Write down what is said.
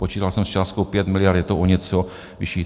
Počítal jsem s částkou 5 mld., je to o něco vyšší.